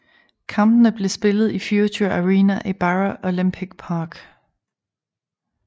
Kampene blev spillet i Future Arena i Barra Olympic Park